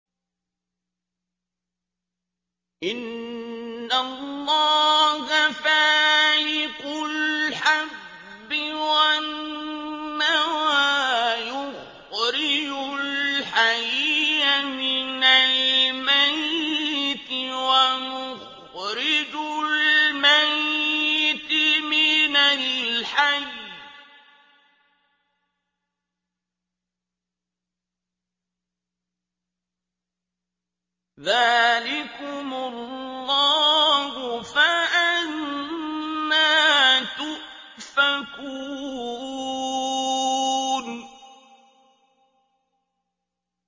۞ إِنَّ اللَّهَ فَالِقُ الْحَبِّ وَالنَّوَىٰ ۖ يُخْرِجُ الْحَيَّ مِنَ الْمَيِّتِ وَمُخْرِجُ الْمَيِّتِ مِنَ الْحَيِّ ۚ ذَٰلِكُمُ اللَّهُ ۖ فَأَنَّىٰ تُؤْفَكُونَ